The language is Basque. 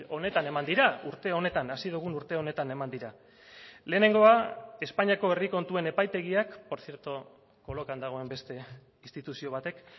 honetan eman dira urte honetan hasi dugun urte honetan eman dira lehenengoa espainiako herri kontuen epaitegiak por cierto kolokan dagoen beste instituzio batek